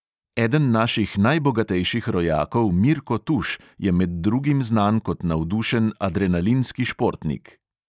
Eden naših najbogatejših rojakov mirko tuš je med drugim znan kot navdušen adrenalinski športnik.